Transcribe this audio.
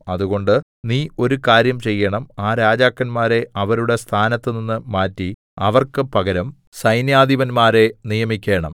അതുകൊണ്ട് നീ ഒരു കാര്യം ചെയ്യേണം ആ രാജാക്കന്മാരെ അവരുടെ സ്ഥാനത്തുനിന്ന് മാറ്റി അവർക്ക് പകരം സൈന്യാധിപൻമാരെ നിയമിക്കേണം